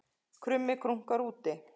Krummi krunkar úti